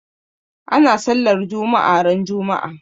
Ana sallar juma'a ran juma'a.